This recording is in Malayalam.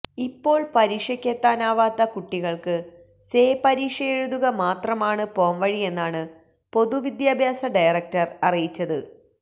ഇപ്പോള് പരീക്ഷയ്ക്കെത്താനാവാത്ത കുട്ടികള്ക്ക് സേ പരീക്ഷയെഴുതുക മാത്രമാണ് പോംവഴിയെന്നാണ് പൊതുവിദ്യാഭ്യാസ ഡയറക്ടര് അറിയിച്ചത്